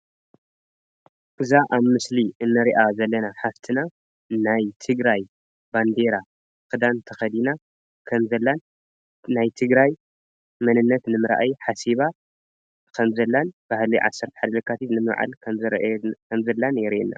እዛ አብ ምስሊ እኒሪአ ዘለና ሓፍትና ናይ ትግራይ ባንዴራ ክዳን ተከዲና ከም ዛላ ናይ ትግራይ መንነት ንምርኣይ ሓሲባ ከመ ዘላን ባህሊ ዓሰር ሓደ የካቲት ንምብዓል ከም ዘሪኢና የሪኢና፡፡